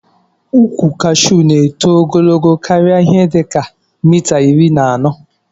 Ukwu kashu na eto ogologo karia ihe dika mita iri na anọ